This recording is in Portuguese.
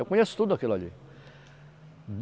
Eu conheço tudo aquilo ali.